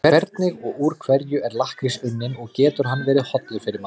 Hvernig og úr hverju er lakkrís unninn og getur hann verið hollur fyrir mann?